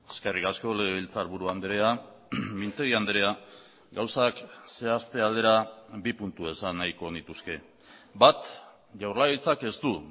eskerrik asko legebiltzarburu andrea mintegi andrea gauzak zehazte aldera bi puntu esan nahiko nituzke bat jaurlaritzak ez du